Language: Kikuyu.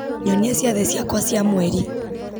nyonia ciathĩ ciakwa cia mweri